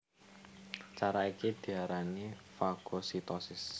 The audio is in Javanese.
Cara iki diarani fagositosis